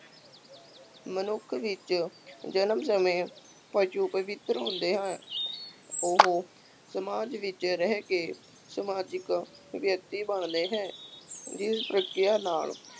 ਮਨੁੱਖ ਵਿੱਚ ਜਨਮ ਸਮੇਂ ਪਸ਼ੂ ਪਵਿੱਤਰ ਹੁੰਦੇ ਹਨ, ਉਹ ਸਮਾਜ ਵਿੱਚ ਰਹਿ ਕੇ ਸਮਾਜਿਕ ਵਿਅਕਤੀ ਬਣਦੇ ਹੈ, ਜਿਸ ਪ੍ਰਕਿਰਿਆ ਨਾਲ